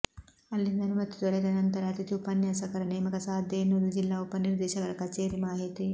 ಅಲ್ಲಿಂದ ಅನುಮತಿ ದೊರೆತ ನಂತರ ಅತಿಥಿ ಉಪನ್ಯಾಸಕರ ನೇಮಕ ಸಾಧ್ಯ ಎನ್ನುವುದು ಜಿಲ್ಲಾ ಉಪನಿರ್ದೇಶಕರ ಕಚೇರಿ ಮಾಹಿತಿ